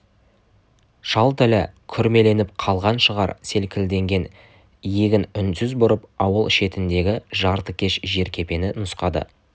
шал тілі күрмеліп қалған шығар селкілдеген иегін үнсіз бұрып ауыл шетіндегі жартыкеш жеркепені нұсқады